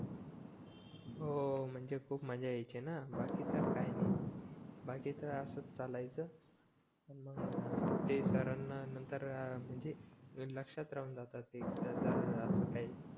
हो म्हणजे खूप मजा यायची ना बाकी तर काय नाही बाकी तर असंच चालायचं मग ते सरांना नंतर अं मंजी माझी लक्षात राहून जातं की जर असं